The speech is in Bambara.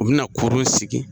U be na kurun sigi.